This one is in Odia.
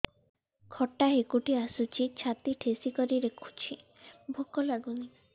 ଖଟା ହାକୁଟି ଆସୁଛି ଛାତି ଠେସିକରି ରଖୁଛି ଭୁକ ଲାଗୁନି